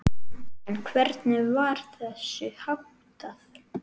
En hvernig var þessu háttað?